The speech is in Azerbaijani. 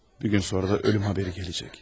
Bir gün sonra da ölüm xəbəri gələcek.